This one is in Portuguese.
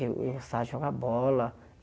Eu eu gostava de jogar bola.